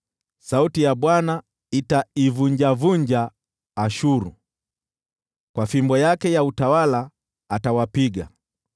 Sauti ya Bwana itaivunjavunja Ashuru, kwa fimbo yake ya utawala atawapiga.